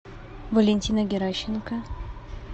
валентина геращенко